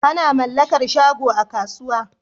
Ana mallakar shago a kasuwa